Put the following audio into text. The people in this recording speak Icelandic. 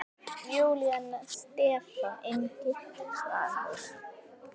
Júlía, Stefán Ingi og Svanur.